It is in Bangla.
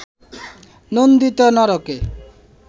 নন্দিত নরকে